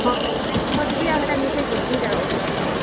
ହଁ ମେଟ୍ ଖତ୍ ବି ଆଉ ହେଟା ମିଶେଇ କରି, ଦୁହିଟା ଅଛେ ତ ଘରେ ।